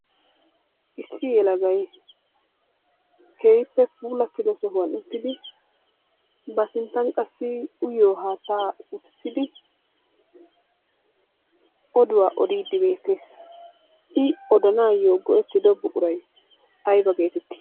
Issi yelagay keehippe puulattida sohuwan uttidi ba sinttan qassi uyiyo haattaa utissidi oduwa odiiddi beettees. I odanaayyo go'ettido buquray ayiba geetetti?